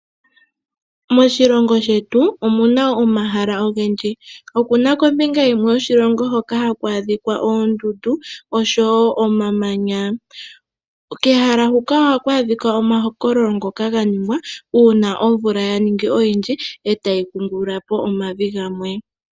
Moshilongo shetu omuna omahala ogendji okuna kombinga yimwe yoshilongo hoka haku adhikwa oondundu oshowo omamanya, kehala hoka ohaku adhika omakololo ngoka ganingwa uuna omvula ya ningi oyindji etayi kungulula po omavi gamwe.